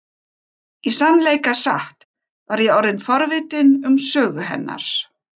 Í sannleika sagt var ég orðin forvitin um sögu hennar.